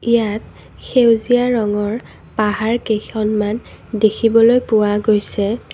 ইয়াত সেউজীয়া ৰঙৰ পাহাৰ কেইখন মান দেখিবলৈ পোৱা গৈছে।